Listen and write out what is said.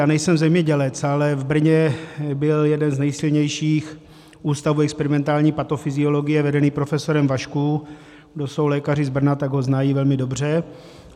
Já nejsem zemědělec, ale v Brně byl jeden z nejsilnějších ústavů experimentální patofyziologie vedený profesorem Vašků - kdo jsou lékaři z Brna, tak ho znají velmi dobře.